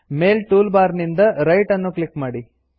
ಮೇಲ್ tool bar ನಿಂದ write ಅನ್ನು click ಮಾಡಿ